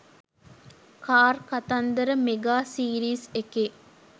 car කතන්දර mega series එකේ